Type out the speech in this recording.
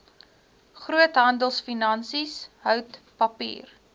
groothandelfinansies hout papier